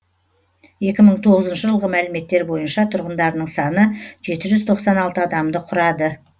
екі мың тоғызыншы жылғы мәліметтер бойынша тұрғындарының саны жеті жүз тоқсан алты адамды құрады